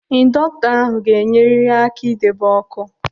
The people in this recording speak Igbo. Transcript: Indọktọ ahụ ga-enyerịrị aka idebe ọkụ.